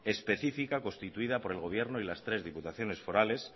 específica constituida por el gobierno y las tres diputaciones forales